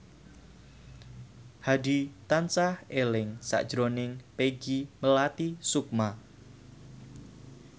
Hadi tansah eling sakjroning Peggy Melati Sukma